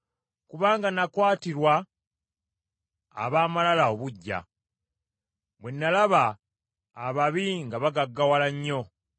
Kubanga nakwatirwa ab’amalala obuggya; bwe nalaba ababi nga bagaggawala nnyo.